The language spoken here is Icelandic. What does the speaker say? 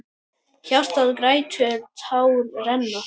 Hjartað grætur, tár renna.